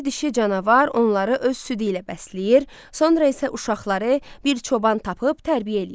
Bir dişi canavar onları öz südü ilə bəsləyir, sonra isə uşaqları bir çoban tapıb tərbiyə eləyir.